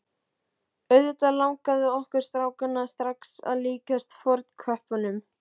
Auðvitað langaði okkur strákana strax að líkjast fornköppunum.